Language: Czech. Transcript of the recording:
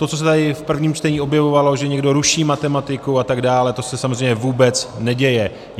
To, co se tady v prvním čtení objevovalo, že někdo ruší matematiku a tak dále, to se samozřejmě vůbec neděje.